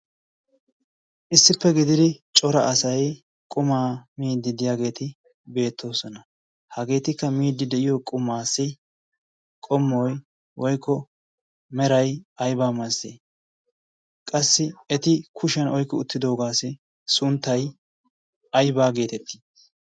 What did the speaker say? issippe gididi cora asay qumaa miididdiyaageeti beettoosona hageetikka miidi de'iyo qumaassi qomoy woykko meray aybaa masatii qassi eti kushiyan oykki uttidoogaassi sunttay aybaa geetettii